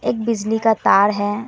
एक बिजली का तार है।